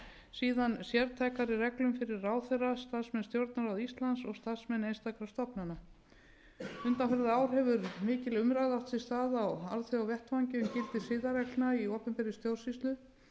síðan sértækari reglum fyrir ráðherra starfsmenn stjórnarráðs íslands og starfsmenn einstakra stofnana undanfarin ár hefur mikil umræða átt sér stað á alþjóðavettvangi um gildi siðareglna í opinberra stjórnsýslu